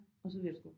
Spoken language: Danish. Og så værsgo